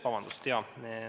Vabandust!